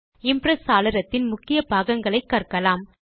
Impress சாளரத்தின் முக்கிய பாகங்களை கற்கலாம்